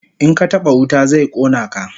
In ka taba wuta zai kona ka